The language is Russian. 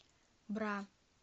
бра